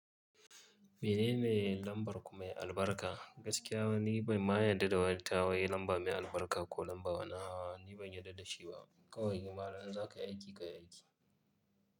Menene lambar kumai albarka? Gaskiya ni ban ma yarda da wata wai lamba mai albarka ko lamba wani a'a ni ban yarda da shi ba. Kawai yi malam zan ka yi aiki ka yi aiki.